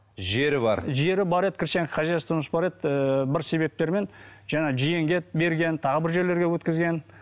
жері бар жері бар еді крестьянское хозяйствомыз бар еді ііі бір себептермен жаңағы жиенге берген тағы бір жерлерге өткізген